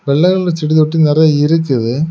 வெள்ளை கலர் செடி தொட்டி நறைய இருக்குது.